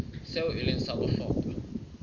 seo e leng sa bohlokwa